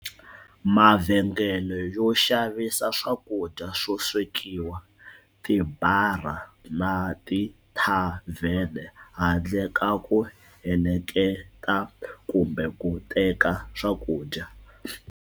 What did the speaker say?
Mavhengele yo xavisa swakudya swo swekiwa, tibara na tithavhene, handle ka ku heleketa kumbe ku teka swakudya.